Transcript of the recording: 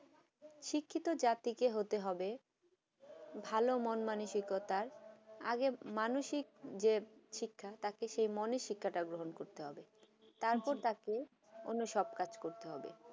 শিক্ষিত জাতিকে হতে হবে ভালো মন মানসিকতার আগের মানসিক যে শিক্ষা তাকে সেই মনের গ্রহণ করতে হবে তারপর তাকে অন্য সব কাজ করতে হবে